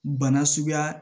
Bana suguya